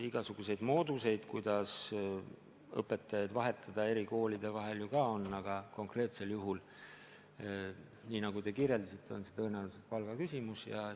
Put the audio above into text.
Igasuguseid mooduseid, kuidas õpetajaid eri koolide vahel vahetada, ju ka on, aga teie märgitud konkreetsel juhul on tõenäoliselt küsimus palgas.